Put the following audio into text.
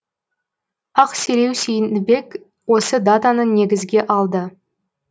ақселеу сейдімбек осы датаны негізге алды